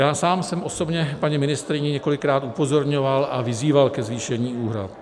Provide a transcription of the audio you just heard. Já sám jsem osobně paní ministryni několikrát upozorňoval a vyzýval ke zvýšení úhrad.